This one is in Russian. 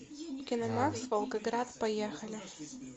киномакс волгоград поехали